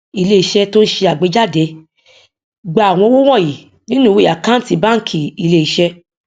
ilé iṣẹ tó n ṣe àgbéjáde gba àwọn owó wọnyí nínú ìwé àkántì bánkì ilé iṣé